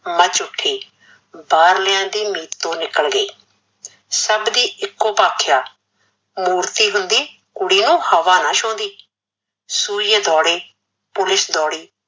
much ਉਠੀ, ਬਾਹਰਲਿਆ ਦੀ ਮਿਤੋਂ ਨੀਕਲ ਗਈ, ਸੱਭ ਦੀ ਇੱਕੋ ਭਾਖਿਆ ਮੂਰਤੀ ਹੁੰਦੀ ਕੁੜੀ ਨੂ ਹਵਾ ਨਾਂ ਛੂਦੀਂ, ਸੁਈਏ ਦੋੜੇ police ਦੋੜੀ